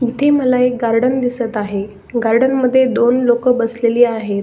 इथे मला एक गार्डन दिसत आहे गार्डन मध्ये दोन लोक बसलेली आहेत.